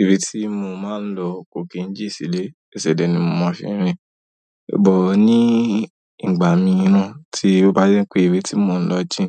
Ìré tí mo máa ń lọ cooking gist lé, èsè dé ni mo máa fi rìn. But ní ìgbà mìíràn tí ó bá jẹ́ pé ìbi tí mo ń lọ jìn,